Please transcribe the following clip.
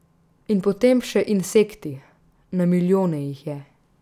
In potem še insekti, na milijone jih je.